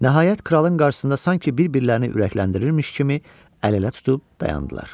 Nəhayət, kralın qarşısında sanki bir-birlərini ürəkləndirirmiş kimi əl-ələ tutub dayandılar.